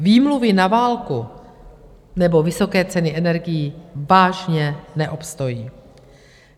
Výmluvy na válku nebo vysoké ceny energií vážně neobstojí.